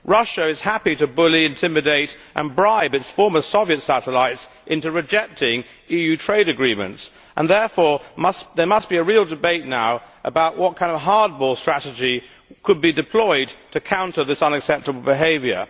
Russia is happy to bully, intimidate and bribe its former Soviet satellites into rejecting EU trade agreements and therefore there must be a real debate now about what kind of hardball strategy could be deployed to counter this unacceptable behaviour.